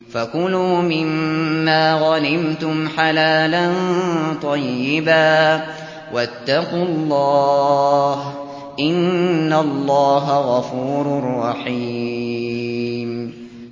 فَكُلُوا مِمَّا غَنِمْتُمْ حَلَالًا طَيِّبًا ۚ وَاتَّقُوا اللَّهَ ۚ إِنَّ اللَّهَ غَفُورٌ رَّحِيمٌ